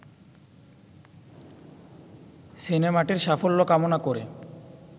সিনেমাটির সাফল্য কামনা করে